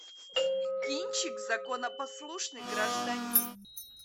кинчик законопослушный гражданин